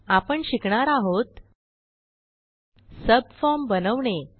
आपण शिकणार आहोत सबफॉर्म बनवणे